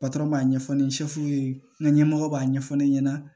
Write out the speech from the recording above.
b'a ɲɛfɔ ni ye n ga ɲɛmɔgɔw b'a ɲɛfɔ ne ɲɛna